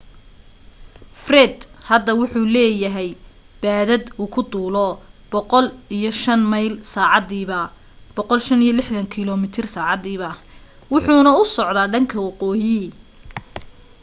fred hadda wuxuu leeyahay baadad uu ku duulo 105 mayl saacadiiba 165km/h wuxuuna u socda dhanka waqooyi